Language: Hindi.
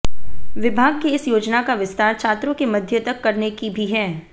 विभाग की इस योजना का विस्तार छात्रों के मध्य तक करने की भी है